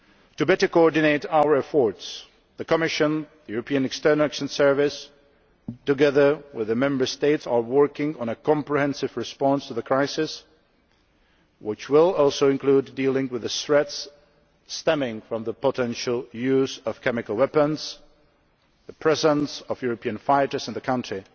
To better coordinate our efforts, the Commission and the European External Action Service, together with the Member States, are working on a comprehensive response to the crisis, which will also include dealing with the threats stemming from the potential use of chemical weapons, the presence of European fighters in the country